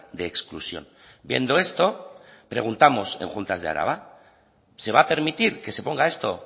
de exclusión viendo esto preguntamos en juntas de araba se va a permitir que se ponga esto